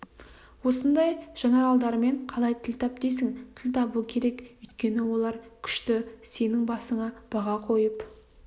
осындай жанаралдармен қалай тіл тап дейсің тіл табу керек өйткені олар күшті сенің басыңа баға қойып